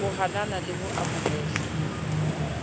ho nahana le ho amohela